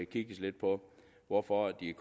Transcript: kigges lidt på hvorfor de